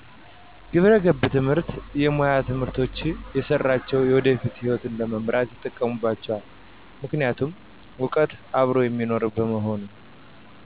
ግብረገብ ትምህርት የሙያ ትምህርቶች የሰራሳቸውን የወደፊት ሕይወት ለመምራት ይጠቅማቸዋል ምክንያቱም እውቀቱ አብሮ የሚኖር በመሆኑ